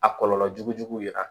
A kɔlɔlɔ jugu jugu yera